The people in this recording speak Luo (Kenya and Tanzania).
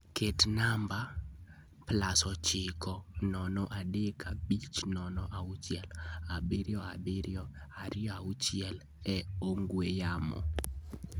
Ket namba +9035067726 e ongwe yamo